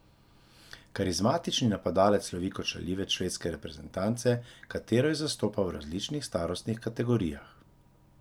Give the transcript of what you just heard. Karizmatični napadalec slovi kot šaljivec švedske reprezenance, katero je zastopal v različnih starostnih kategorijah.